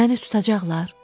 Məni tutacaqlar?